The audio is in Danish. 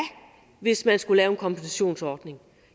hvis man skulle lave en kompensationsordning